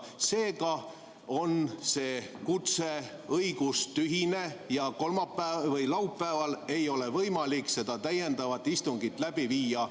Seega on see kutse õigustühine ja laupäeval ei ole võimalik täiendavat istungit läbi viia.